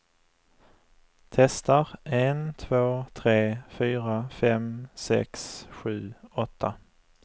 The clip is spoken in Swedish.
Testar en två tre fyra fem sex sju åtta.